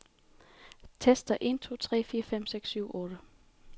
Tester en to tre fire fem seks syv otte.